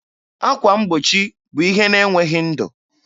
Akwa mgbochi bụ ihe na-enweghị ndụ.